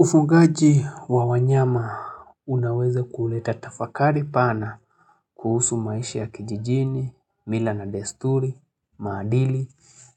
Ufugaji wa wanyama unaweza kuleta tafakari pana kuhusu maisha ya kijijini, mila na desturi, maadili